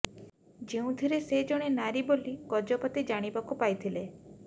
ଯେଉଁଥିରେ ସେ ଜଣେ ନାରୀ ବୋଲି ଗଜପତି ଜାଣିବାକୁ ପାଇଥିଲେ